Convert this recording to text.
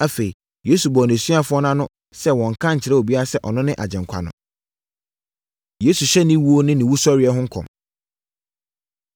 Afei, Yesu bɔɔ nʼasuafoɔ no ano sɛ wɔnnka nkyerɛ obiara sɛ ɔno ne Agyenkwa no. Yesu Hyɛ Ne Owuo Ne Ne Owusɔreɛ Ho Nkɔm